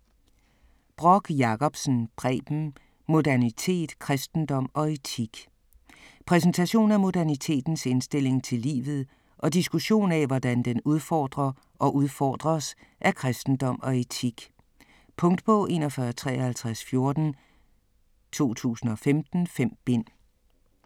Brock Jacobsen, Preben: Modernitet: kristendom og etik Præsentation af modernitetens indstilling til livet og diskussion af, hvordan den udfordrer og udfordres af kristendom og etik. Punktbog 415314 2015. 5 bind.